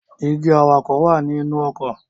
Dígí awakọ̀ wá ní inú ọkọ̀